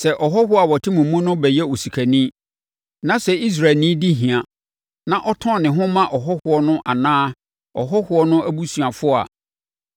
“ ‘Sɛ ɔhɔhoɔ a ɔte mo mu no bɛyɛ osikani, na sɛ Israelni di hia, na ɔtɔn ne ho ma ɔhɔhoɔ no anaa ɔhɔhoɔ no abusuafoɔ a,